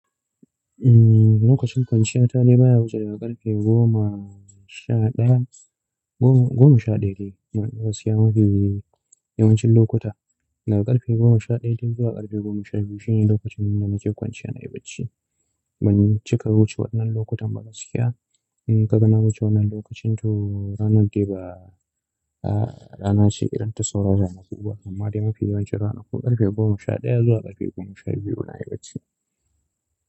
Eh, lokacin kwanciya ta ne baya wuce daga ƙarfe goma sha ɗaya, goma sha ɗaya dai ne gaskiya mafi yawancin lokuta. Daga ƙarfe goma sha dai ɗaya zuwa ƙarfe goma sha biyu shine lokacin da nake kwanciya na yi bacci. Ban cika wuce wannan lokutan ba gaskiya. In ka ga na wuce wannan lokacin to ranar dai ba rana ce irin sauran rana kuba, amma dai mafi yawancin rana ku ƙarfe goma sha ɗaya zuwa ƙarfe goma sha biyu na yi bacci.